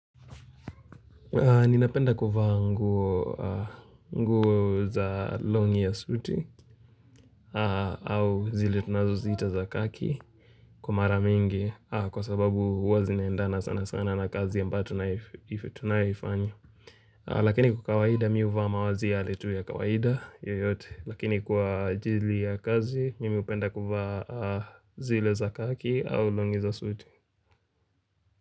Ninapenda kuvaa nguo za longi ya suti au zile tunazoziita za khaki kwa mara mingi kwa sababu huwa zinaendana sana sana na kazi ambayo tunayoifanya Lakini kwa kawaida mimi huvaa mavaazi yale tu ya kawaida yoyote lakini kwa ajili ya kazi mimi hupenda kuvaa zile za kaki au longi za suuti.